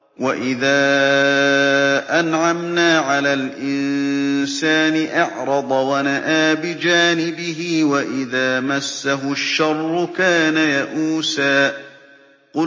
وَإِذَا أَنْعَمْنَا عَلَى الْإِنسَانِ أَعْرَضَ وَنَأَىٰ بِجَانِبِهِ ۖ وَإِذَا مَسَّهُ الشَّرُّ كَانَ يَئُوسًا